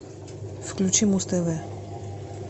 включи муз тв